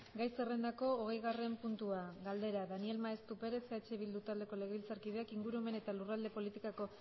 gai zerrendako hogeigarren puntua galdera daniel maeztu perez eh bildu taldeko legebiltzarkideak ingurumen eta lurralde politikako